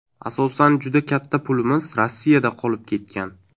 Asosan juda katta pulimiz Rossiyada qolib ketgan.